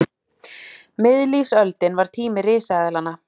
Miðlífsöldin var tími risaeðlanna.